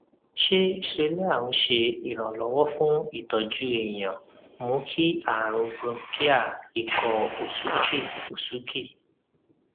ṣé xolair ńse iranlowo fun itoju èèyàn mú kí àrùn bronchial ikọ òsúkè òsúkè